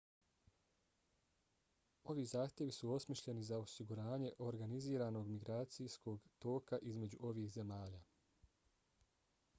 ovi zahtjevi su osmišljeni za osiguranje organiziranog migracijskog toka između ovih zemalja